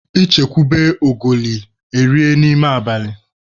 E chekwube ogoli, erie n'ime abalị